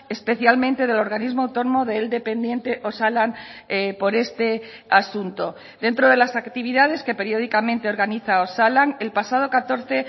especialmente del organismo autónomo de él dependiente osalan por este asunto dentro de las actividades que periódicamente organiza osalan el pasado catorce